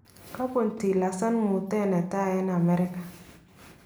Kabuun Tilerson muutet netai en Amerika